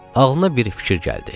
Ağlına bir fikir gəldi.